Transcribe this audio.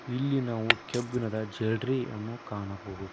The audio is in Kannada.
ಇಲ್ಲಿ ನಾವು ಕೆಬ್ಬಿಣದ ಜೆಡ್ರಿಯನ್ನು ಕಾಣಬಹುದು.